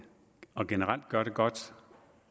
og generelt gør det godt